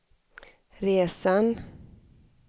resan